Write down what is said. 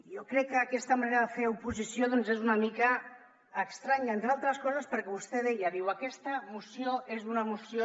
jo crec que aquesta manera de fer oposició doncs és una mica estranya entre altres coses perquè vostè deia diu aquesta moció és una moció